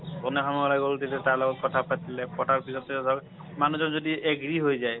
সন্ধিয়া সময়ত ওলাই গল তেতিয়া তাৰ কথা পাতিলে, পতাৰ পিছতে ধৰ মানুহজন যদি agree হৈ যায়।